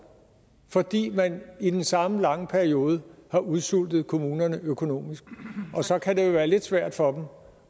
fordi man i den samme lange periode har udsultet kommunerne økonomisk og så kan det jo være lidt svært for